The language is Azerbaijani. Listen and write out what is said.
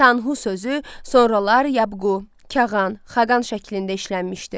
Tanhu sözü sonralar yabqu, Kağan, Xaqan şəklində işlənmişdi.